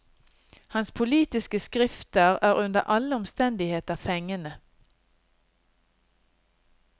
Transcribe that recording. Hans politiske skrifter er under alle omstendigheter fengende.